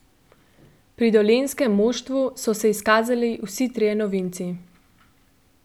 Pri dolenjskem moštvu so se izkazali vsi trije novinci.